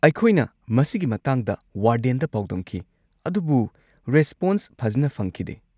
ꯑꯩꯈꯣꯏꯅ ꯃꯁꯤꯒꯤ ꯃꯇꯥꯡꯗ ꯋꯥꯔꯗꯦꯟꯗ ꯄꯥꯎꯗꯝꯈꯤ ꯑꯗꯨꯕꯨ ꯔꯦꯁꯄꯣꯟꯁ ꯐꯖꯅ ꯐꯪꯈꯤꯗꯦ꯫